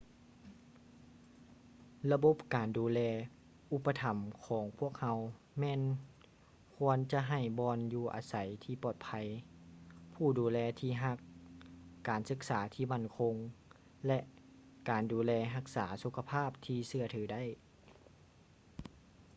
ລະບົບການດູແລອຸປະຖໍາຂອງພວກເຮົາແມ່ນຄວນຈະໃຫ້ບ່ອນຢູ່ອາໄສທີ່ປອດໄພ ຜູ້ດູແລທີ່ຮັກ ການສຶກສາທີ່ໝັ້ນຄົງ ແລະ ການດູແລຮັກສາສຸຂະພາບທີ່ເຊື່ອຖືໄດ້